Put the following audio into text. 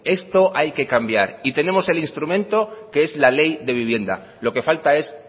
esto hay que cambiar y tenemos el instrumento que es la ley de vivienda lo que falta es